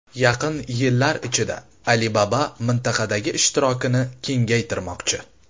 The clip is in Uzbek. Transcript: Yaqin yillar ichida Alibaba mintaqadagi ishtirokini kengaytirmoqchi.